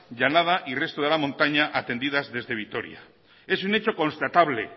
llanada y resto de la montaña atendidas desde vitoria es un hecho constatable